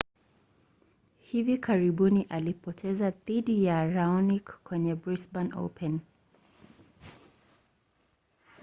hivi karibuni alipoteza dhidi ya raonic kwenye brisbane open